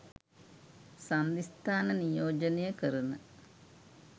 සන්ධි ස්ථාන නියෝජනය කරන